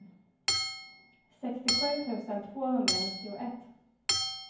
sextiosju tusen tvåhundranittioett